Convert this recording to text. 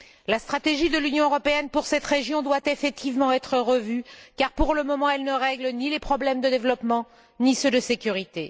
La stratégie de l'Union européenne pour cette région doit effectivement être revue car, pour le moment, elle ne règle ni les problèmes de développement, ni ceux de sécurité.